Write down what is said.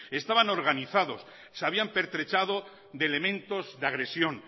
estaban organizados se habían pertrechado de elementos de agresión